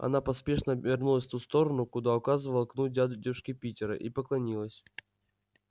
она поспешно обернулась в ту сторону куда указывал кнут дядюшки питера и поклонилась